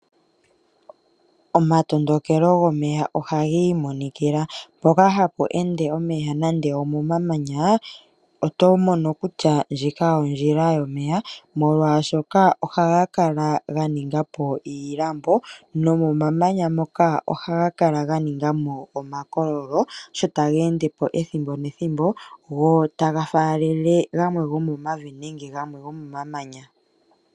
Omatondokelo gomeya ohaga imonikila, mpoka hapu ende omeya nande omamanya oto mono kutya ndjika ondjila yomeya molwaashoka ohaga kala ganinga po iilambo nomomanya ngoka ohaga kala ganingamo omakololo, sho taga endepo ethimbo nethimbo. Ohaga faalele gamwe gomomavi nenge gomamanya.